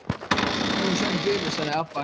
Nú er sjórinn gulur, sagði Abba hin.